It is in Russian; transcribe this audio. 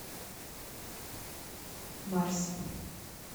марси